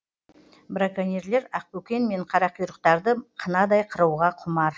браконьерлер ақбөкен мен қарақұйрықтарды қынадай қыруға құмар